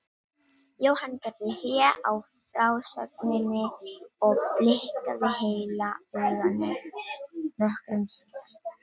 Jóhann gerði hlé á frásögninni og blikkaði heila auganu nokkrum sinnum.